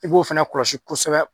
I b'o fana kɔlɔsi kosɛbɛ.